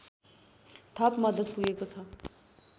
थप मद्दत पुगेको छ